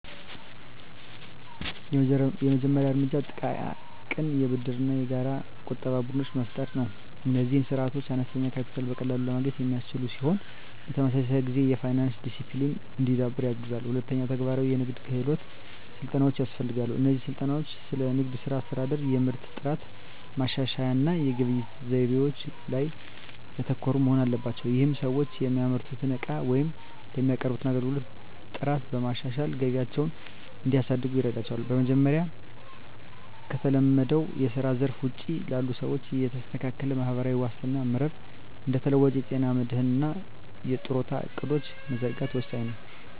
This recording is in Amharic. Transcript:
የመጀመሪያው እርምጃ ጥቃቅን የብድርና የጋራ ቁጠባ ቡድኖችን መፍጠር ነው። እነዚህ ስርዓቶች አነስተኛ ካፒታልን በቀላሉ ለማግኘት የሚያስችሉ ሲሆን፣ በተመሳሳይ ጊዜ የፋይናንስ ዲሲፕሊን እንዲዳብር ያግዛሉ። ሁለተኛ፣ ተግባራዊ የንግድ ክህሎት ስልጠናዎች ያስፈልጋሉ። እነዚህ ስልጠናዎች ስለ ንግድ ሥራ አስተዳደር፣ የምርት ጥራት ማሻሻያ እና የግብይት ዘይቤዎች ላይ ያተኮሩ መሆን አለባቸው። ይህም ሰዎች የሚያመርቱትን ዕቃዎች ወይም የሚያቀርቡትን አገልግሎት ጥራት በማሻሻል ገቢያቸውን እንዲያሳድጉ ይረዳቸዋል። በመጨረሻም፣ ከተለመደው የስራ ዘርፍ ውጪ ላሉ ሰዎች የተስተካከለ ማህበራዊ ዋስትና መረብ (እንደ ተለዋዋጭ የጤና መድህን እና የጡረታ ዕቅዶች) መዘርጋት ወሳኝ ነው።